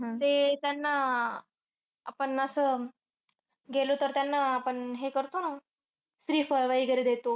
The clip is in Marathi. ते अह त्यांना आह आपण असं गेलो तर त्यांना अह आपण हे करतो ना, श्रीफळ वगैरे देतो.